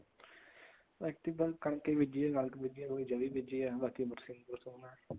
ਐਤਕੀ ਬੱਸ ਕਣਕ ਹੀ ਬੀਜੀ ਆ ਥੋੜੀ ਚਰੀ ਬੀਜੀ ਹੈ ਬਾਕੀ ਬਰਸੀਂਣ ਬਰਸੁਨ